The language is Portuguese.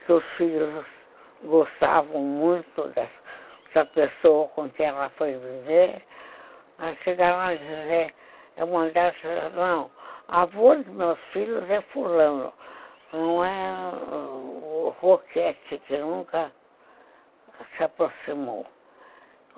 que os filhos gostavam muito dessa pessoa com quem ela foi viver, aí chegaram a dizer, eu mandei, não, a avó dos meus filhos é fulano, não é o Roquete, que nunca se aproximou.